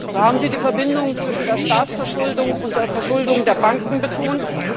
So haben Sie die Verbindung zwischen der Staatsverschuldung und der Verschuldung der Banken betont.